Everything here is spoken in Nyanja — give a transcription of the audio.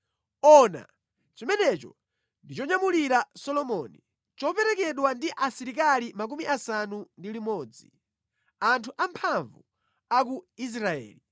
Ona! Chimenecho ndi chonyamulira Solomoni, choperekezedwa ndi asilikali 60, anthu amphamvu a ku Israeli,